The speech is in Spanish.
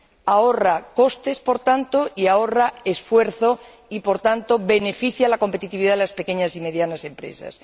ahorran costes y ahorran esfuerzo y, por tanto, benefician la competitividad de las pequeñas y medianas empresas.